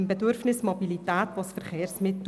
Zu dessen Befriedigung benötigt man Verkehrsmittel.